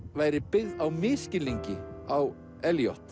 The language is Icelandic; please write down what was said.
væri byggð á misskilningi á